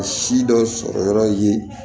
Si dɔ sɔrɔ yɔrɔ ye